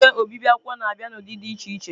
Igwe obibi akwụkwọ na-abịa n'ụdị dị iche iche.